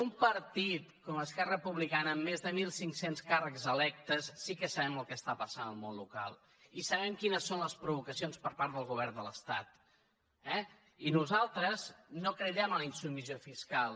un partit com esquerra republicana amb més de mil cinc cents càrrecs electes sí que sabem el que està passant al món local i sabem quines són les provocacions per part del govern de l’estat eh i nosaltres no cridem a la insubmissió fiscal